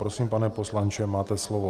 Prosím, pane poslanče, máte slovo.